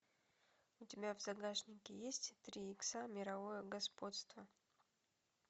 у тебя в загашнике есть три икса мировое господство